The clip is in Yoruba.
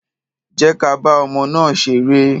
Jẹ́ ka bá ọmọ náà ṣeré.